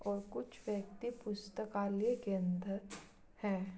और कुछ व्यक्ति पुस्तकालय के अंदर हैं।